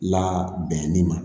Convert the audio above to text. La bɛnni ma